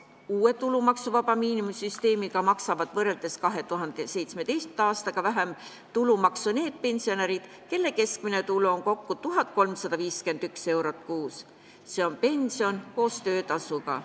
Uue tulumaksuvaba miinimumi süsteemi kohaselt maksavad võrreldes 2017. aastaga vähem tulumaksu need pensionärid, kelle keskmine tulu on kokku kuni 1351 eurot kuus, s.o pension koos töötasuga.